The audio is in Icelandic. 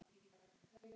Nei, en ég á Noreg.